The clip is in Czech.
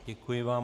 Děkuji vám.